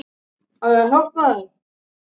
Smelltu hér til að sjá þrautina